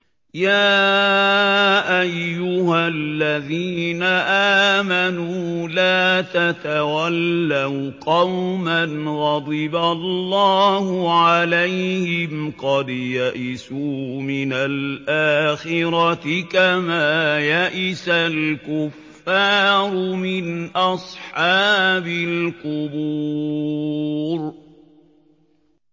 يَا أَيُّهَا الَّذِينَ آمَنُوا لَا تَتَوَلَّوْا قَوْمًا غَضِبَ اللَّهُ عَلَيْهِمْ قَدْ يَئِسُوا مِنَ الْآخِرَةِ كَمَا يَئِسَ الْكُفَّارُ مِنْ أَصْحَابِ الْقُبُورِ